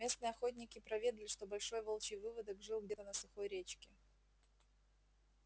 местные охотники проведали что большой волчий выводок жил где-то на сухой речке